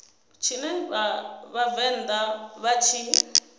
tshine vha vhavenḓa vha tshi